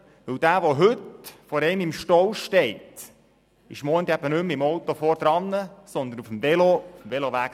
Jemand, der heute im Stau steht, ist morgen nicht mehr im voranfahrenden Auto, sondern abseits auf dem Veloweg.